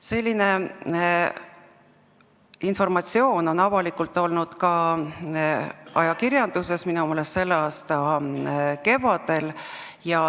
Selline informatsioon on avalikult olnud ka ajakirjanduses, minu meelest selle aasta kevadel.